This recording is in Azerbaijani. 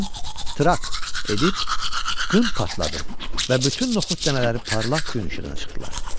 Birdən trak edib qın partladı və bütün noxud dənələri parlaq gün işığına çıxdılar.